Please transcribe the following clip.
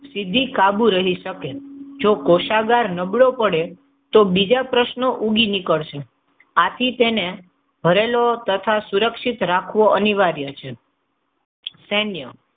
સીધી કાબુ રહી શકે. કોષાગાર નબળો પડે તો બીજા પ્રશ્નો ઊગી નીકળશે. આથી તેને હરેલો તથા સુરક્ષિત રાખવો જરૂરી છે. સૈન્ય.